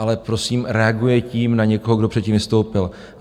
Ale prosím, reaguje tím na někoho, kdo předtím vystoupil.